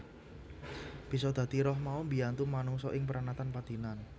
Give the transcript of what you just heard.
Bisa dadi roh mau mbiyantu manungsa ing pranatan padinan